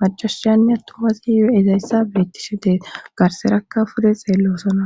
macasiyanne attumazi ezayssa bettishe dee garserakka pude xeellosona